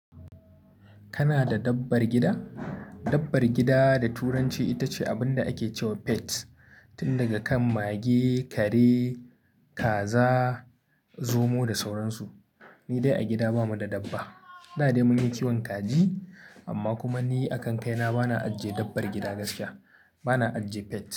Kana da dabbar gida? Dabbar gida da turanci ita ce abin da ake cewa pet. Tun daga kan mage, kare, kaza, zomo da sauran su. Ni dai a gida ba mu da dabba. Da dai mun yi kiwon kaji amma kuma ni a kan kai na bana ajiye dabbar gida gaskiya. Bana ajiye pet.